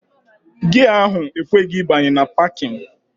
Gia ahụ ekweghị abanye na 'pakịn'